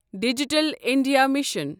digital India mission